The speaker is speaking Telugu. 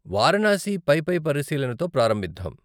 వారణాసి పైపై పరిశీలనతో ప్రారంభిద్దాం.